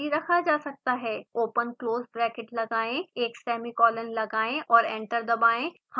open close bracket लगाएं एक semicolon लगाएं और एंटर दबाएं